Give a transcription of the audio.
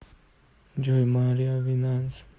джой марио винанс